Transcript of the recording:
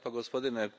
Poštovani